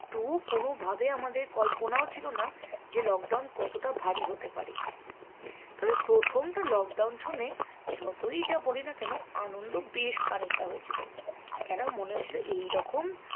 তো কোনোভাবে আমাদের কল্পনাও ছিল না যে lockdown কতটা ভারী হতে পারে তবে প্রথমটা lockdown শুনে যতই যা বলিনা কেন আনন্দ বেশ খানিকটা হয়েছিল কেন মনে হয়েছিল এইরকম